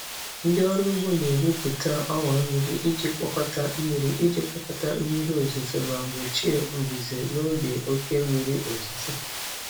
Ndị ọrụ ugbo na-egwupụta ọwa mmiri iji kpokọta mmiri iji kpokọta mmiri ozuzo ma gbochie mbuze n'oge oke mmiri ozuzo.